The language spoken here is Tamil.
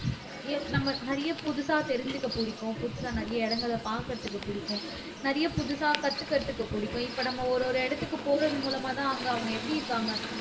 எப் நம்ம நிறைய புதுசா தெரிஞ்சுக்க பிடிக்கும் புதுசா நிறைய இடங்களை பாக்குறதுக்கு பிடிக்கும் நிறைய புதுசா கத்துக்கிறதுக்கு புடிக்கும் இப்ப நம்ம ஒரு ஒரு இடத்துக்கு போறது மூலமாதான் அங்க அவங்க எப்படி இருக்காங்க